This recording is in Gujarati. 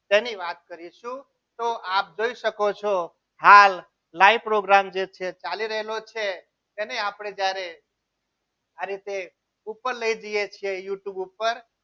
તેની વાત કરીશું તો આપ જોઈ શકો છો હાલ live program જે છે ચાલી રહેલો છે તેને આપણે જ્યારે આ રીતે ઉપર લઈ જઈએ છીએ youtube ઉપર